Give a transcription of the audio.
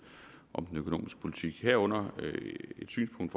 om den økonomiske politik herunder ved et synspunkt